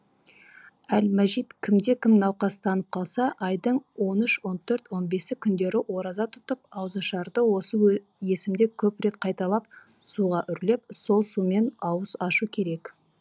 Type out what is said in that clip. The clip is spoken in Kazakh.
әл мәжид кімде кім науқастанып қалса айдың он үш он төрт он бесі күндері ораза тұтып ауызашарда осы есімді көп рет қайталап суға үрлеп сол сумен ауыз ашу керек